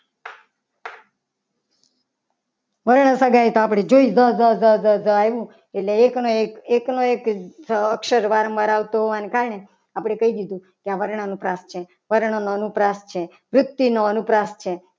વર્ણ સગાઈ તો આપણે જોઈ લીધી જજ જ જ આવ્યું. એટલે એકનો એક એકનો એક અક્ષર વાર મરાવતો હોય ને કારણે આપણે કહી દીધું. કે આ વર્ણાનુપ્રાસ છે. વર્ણનો અનુપ્રાસ છે. વ્યક્તિનો અનુપ્રાસ છે.